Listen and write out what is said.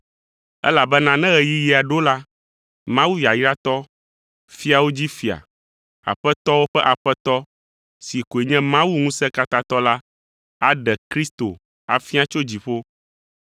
Elabena ne ɣeyiɣia ɖo la, Mawu yayratɔ, fiawo dzi Fia, aƒetɔwo ƒe Aƒetɔ si koe nye Mawu Ŋusẽkatãtɔ la aɖe Kristo afia tso dziƒo.